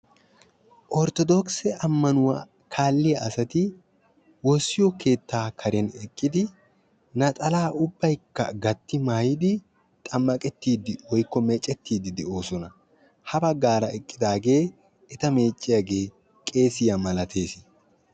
ortodogise ammanuwa kaalliya asati woossiyo keetta karen eqqidi naxalaa ubbayikka mayyidi xammaqettiiddi woyikko meecettiiddi de'oosona. ha baggaara eqqidaage eta meecciyage qeesiya malates.